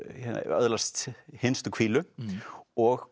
öðlast hinstu hvílu og